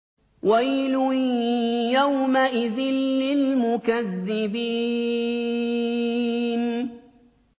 وَيْلٌ يَوْمَئِذٍ لِّلْمُكَذِّبِينَ